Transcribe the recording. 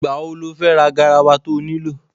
Ìgbà wo lo fẹ́ ra garawa to nílò?